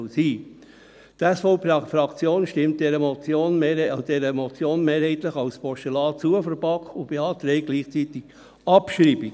Die SVP-Fraktion stimmt dieser Motion der BaK mehrheitlich als Postulat zu und beantragt gleichzeitig die Abschreibung.